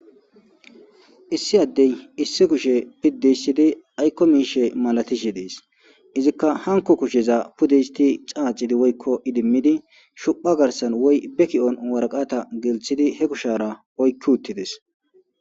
Issi addey issi kushe piddi histidi,ayko miishe malatishe dees. Izika hanko kusheza pude xaaxidi shuphpha garsan he kushara waraqata oyki uttidees.